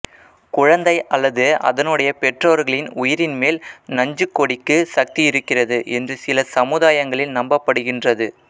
குழந்தை அல்லது அதனுடைய பெற்றோர்களின் உயிரின் மேல் நஞ்சுக்கொடிக்கு சக்தி இருக்கிறது என்று சில சமுதாயங்களில் நம்பபடுகின்றது